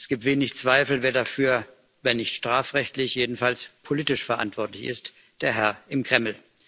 Es gibt wenig Zweifel, wer dafür wenn nicht strafrechtlich, dann jedenfalls politisch verantwortlich ist der Herr im Kreml.